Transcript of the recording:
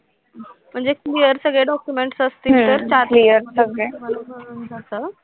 म्हणजे clear सगळे documents असतील तर चार दिवसात clear सगळे भराभर होऊन जातं.